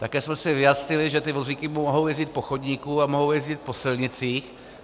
Také jsme si vyjasnili, že ty vozíky mohou jezdit po chodníku a mohou jezdit po silnicích.